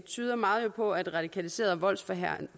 tyder meget på at radikaliserede og voldsforherligende